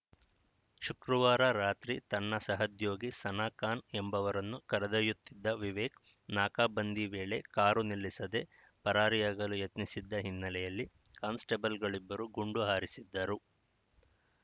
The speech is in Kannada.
ಶುಕ್ರವಾರ ರಾತ್ರಿ ತನ್ನ ಸಹೋದ್ಯೋಗಿ ಸನಾ ಖಾನ್‌ ಎಂಬವರನ್ನು ಕರೆದೊಯ್ಯುತ್ತಿದ್ದ ವಿವೇಕ್‌ ನಾಕಾಬಂದಿ ವೇಳೆ ಕಾರು ನಿಲ್ಲಿಸದೆ ಪರಾರಿಯಾಗಲು ಯತ್ನಿಸಿದ್ದ ಹಿನ್ನೆಲೆಯಲ್ಲಿ ಕಾನ್ಸ್‌ಟೇಬಲ್‌ಗಳಿಬ್ಬರು ಗುಂಡು ಹಾರಿಸಿದ್ದರು